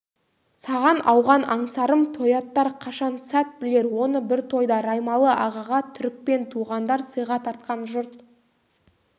саған ауған аңсарым тояттар қашан сәт білер оны бір тойда раймалы-ағаға түрікпен туғандар сыйға тартқан жұрт